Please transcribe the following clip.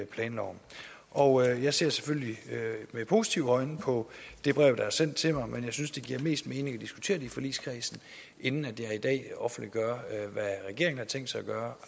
planloven og jeg ser selvfølgelig med positive øjne på det brev der er sendt til mig men jeg synes det giver mest mening at diskutere det i forligskredsen inden jeg offentliggør hvad regeringen har tænkt sig at gøre